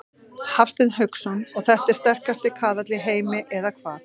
Hafsteinn Hauksson: Og þetta er sterkasti kaðall í heimi eða hvað?